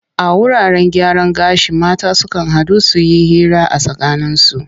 A wuraten gyaran gashi mata sukan haɗu su yi hira a tsakaninsu.